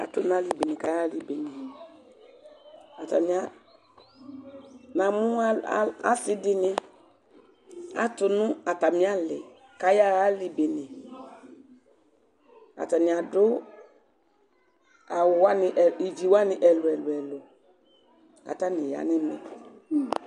Atʋnʋ ali bene kʋ ayaxa ali bene Namʋ asidini atʋnʋ atami ali kʋ ayaxa ali bene, kʋ atani adʋ awʋwani ivi ɛlʋ ɛlʋ ɛlʋ Kʋ atani yanʋ ɛmɛ